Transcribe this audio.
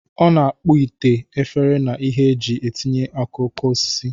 Ọ na-akpọ ite, efere, na ihe e ji etinye okoko osisi.